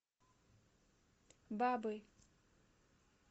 бабы